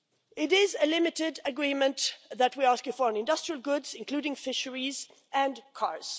It is a limited agreement that we are asking for on industrial goods, including fisheries and cars.